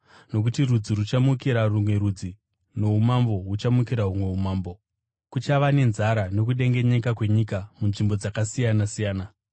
Nokuti rudzi ruchamukira rumwe rudzi noumambo huchamukira humwe umambo. Kuchava nenzara nokudengenyeka kwenyika munzvimbo dzakasiyana-siyana.